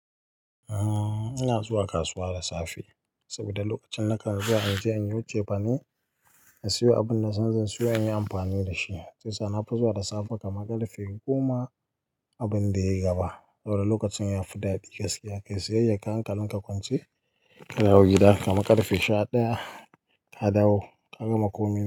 Ina zuwa kasuwa da safe saboda lokacin nakan zuwa inje inyo cefane, na siyo abin da zan zo in yi amfani da shi. Shiyasa nafi zuwa da safe kamar ƙarfe huɗu kuma abin da ya gabata. Saboda lokacin yafi daɗi, gaskiya kayi siyayyar ka hankalinka kwance ka dawo gida kamar ƙarfe sha ɗaya ka dawo ka gama kunya.